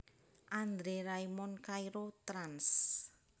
André Raymond Cairo trans